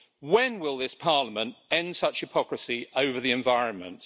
When will this Parliament end such hypocrisy over the environment?